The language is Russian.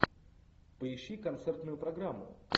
поищи концертную программу